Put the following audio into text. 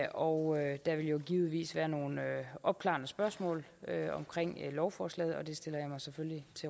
og der vil jo givetvis være nogle opklarende spørgsmål omkring lovforslaget og det stiller jeg mig selvfølgelig